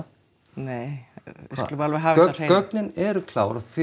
nei við skulum alveg hafa það á hreinu gögnin eru klár og